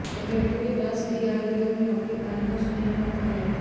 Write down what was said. अभ्यर्थियों के पास डीआरडीओ में नौकरी पाने का सुनहरा मौका है